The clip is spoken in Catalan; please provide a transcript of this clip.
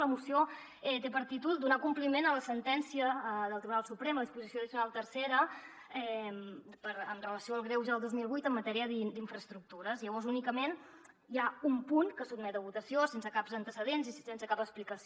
la moció té per títol donar compliment a la sentència del tribunal suprem a la disposició addicional tercera amb relació al greuge del dos mil vuit en matèria d’infraestructures llavors únicament hi ha un punt que es sotmet a votació sense cap antecedent i sense cap explicació